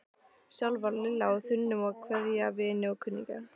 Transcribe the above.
Sjálf var Lilla á þönum að kveðja vini og kunningja.